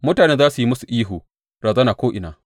Mutane za su yi musu ihu, Razana ko’ina!’